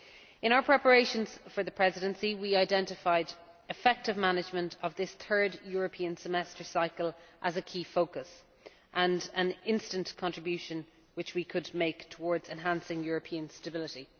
In our preparations for the Presidency, we identified effective management of this third European Semester cycle as a key focus, and an instant contribution which we could make towards enhancing European stability.